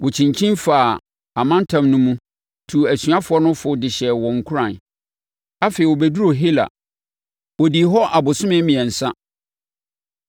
Ɔkyinkyini faa amantam no mu, tuu asuafoɔ no fo de hyɛɛ wɔn nkuran. Afei, ɔbɛduruu Hela. Ɔdii hɔ abosome mmiɛnsa.